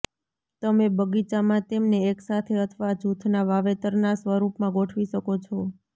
તમે બગીચામાં તેમને એકસાથે અથવા જૂથના વાવેતરના સ્વરૂપમાં ગોઠવી શકો છો